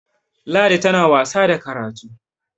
ladi tana wasa da karatu!